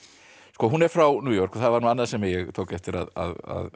hún er frá New York og það var annað sem ég tók eftir að